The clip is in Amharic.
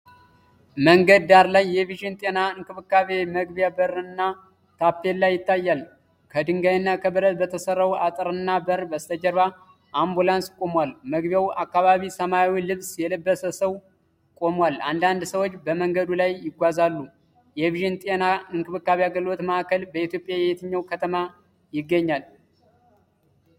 መንገድ ዳርላይ የቪዥን ጤና እንክብካቤ) መግቢያ በርና ታፔላ ይታያል። ከድንጋይና ከብረት በተሰራው አጥርና በር በስተጀርባ አምቡላንስ ቆሟል። መግቢያው አካባቢ ሰማያዊ ልብስ የለበሰ ሰው ቆሟል። አንዳንድ ሰዎች በመንገዱ ላይ ይጓዛሉ። የቪዥን ጤና እንክብካቤ አገልግሎት ማዕከል በኢትዮጵያ የትኛው ከተማ ይገኛል?